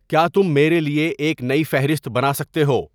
کیا تم میرے لیے ایک نئی فہرست بنا سکتے ہو